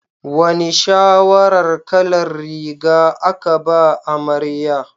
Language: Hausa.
Wane shawarar kalar riga aka ba amarya?